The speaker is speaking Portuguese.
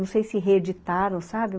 Não sei se reeditaram, sabe?